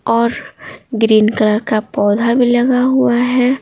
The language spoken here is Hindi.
और ग्रीन कलर का पौधा भी लगा हुआ है।